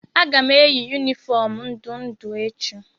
Aga m eyi yunifọọm ndụ ndụ echi.